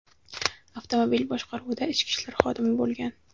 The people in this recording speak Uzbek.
avtomobil boshqaruvida ichki ishlar xodimi bo‘lgan.